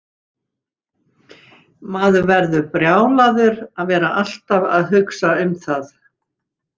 Maður verður brjálaður að vera alltaf að hugsa um það.